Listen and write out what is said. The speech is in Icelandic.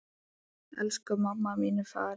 Elsku mamma mín er farin.